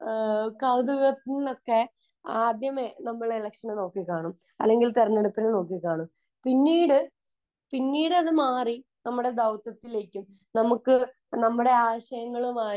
കൗതുകത്തിൽ നിന്നൊക്കെ ആദ്യമേ നമ്മൾ എലെക്ഷനെ നോക്കി കാണും അല്ലെങ്കിൽ തെരഞ്ഞെടുപ്പിനെ നോക്കി കാണും. പിന്നീട് പിന്നീട് അത് മാറി നമ്മളെ ദൗത്യത്തിലേക്കും നമുക്ക് നമ്മളെ ആശയങ്ങളുമായി